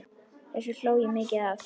Þessu hló ég mikið að.